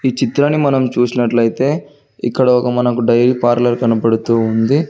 ఈ చిత్రాన్ని మనం చూసినట్లయితే ఇక్కడ ఒక మనకు డైలీ పార్లర్ కనబడుతూ ఉంది.